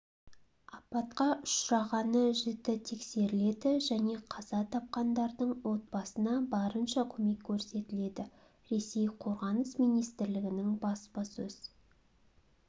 апатқа ұшырағаны жіті тексеріледі және қаза тапқандардың отбасына барынша көмек көрсетіледі ресей қорғаныс министрлігінің баспасөз